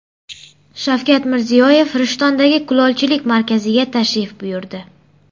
Shavkat Mirziyoyev Rishtondagi kulolchilik markaziga tashrif buyurdi.